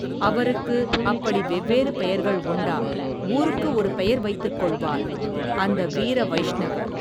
அவருக்கு, அப்படி வெவ்வேறு பெயர்கள் உண்டா, ஊருக்கு ஒரு பெயர் வைத்துக் கொள்வார், அந்த வீர வைஷ்ணவ.